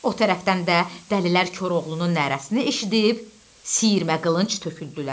O tərəfdən də dəlilər Koroğlunun nərəsini eşidib sirəmə qılınc tökdülər.